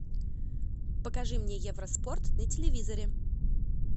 покажи мне евроспорт на телевизоре